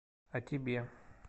а тебе